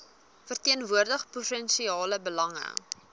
verteenwoordig provinsiale belange